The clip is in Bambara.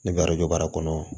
Ne bɛ baara kɔnɔ